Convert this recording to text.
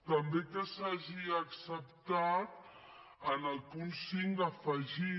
també que s’hagi acceptat en el punt cinc afegir